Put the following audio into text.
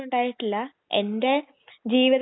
എന്നും ദോശയെനിക്ക് പിടിക്കൂല